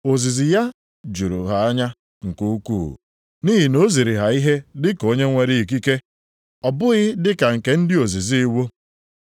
Ozizi ya juru ha anya nke ukwuu, nʼihi na o ziri ha ihe dịka onye nwere ikike, ọ bụghị dị ka nke ndị ozizi iwu.